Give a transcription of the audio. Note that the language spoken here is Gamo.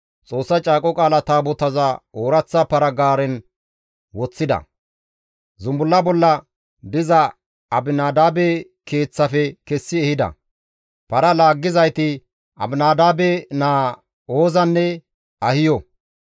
Xoossa Caaqo Qaala Taabotaza ooraththa para-gaaren woththida; zumbulla bolla diza Abinadaabe keeththafe kessi ehida; para laaggizayti Aminadaabe naa Oozanne Ahiyo.